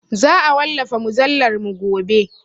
Za a wallafa mujallarmu gobe.